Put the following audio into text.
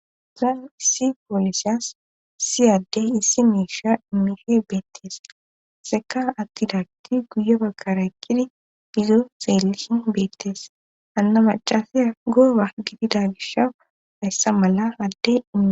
Zaan issi poolesyas siyaddey issi miisha mihe beettees seka attidagti guye bakkara kidi bizo seelihin beettees anna macasiya gooba gidida gishaw hayssa mala addei